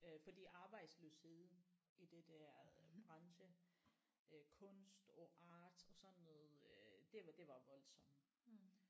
Øh fordi arbejdsløsheden i det der branche øh kunst og art og sådan noget øh det var det var voldsomt